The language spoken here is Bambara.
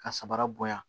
Ka sabara bonya